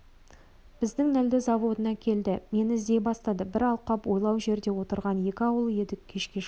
біздің нілді заводына келді мені іздей бастады бір алқап-ойлау жерде отырған екі ауыл едік кешке жақын